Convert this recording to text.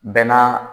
Bɛɛ n'a